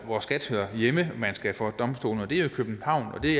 hvor skat hører hjemme man skal for domstolen og det er i københavn det